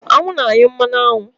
Aṅụ na-anyụ mmanụ aṅụ.